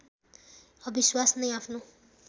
अविश्वास नै आफ्नो